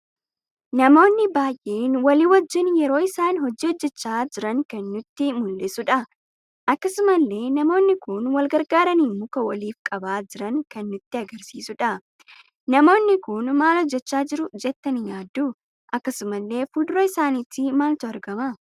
Namoonni baay'een walii wajjiin yeroo isaan hojii heojjechaa jiran kan nutti muldhisudha. Akkasumallee namoonni kun wal gargaarani muka waliif qaba jiran kan nutti agarsiisuudha. Namoonni kun maal hojjecha jiru jettani yaaddu? akkasumalle fuuldura isaanitti maaltu argama?